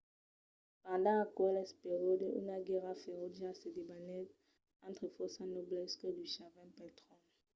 pendent aqueles periòdes una guèrra ferotja se debanèt entre fòrça nobles que luchavan pel tròn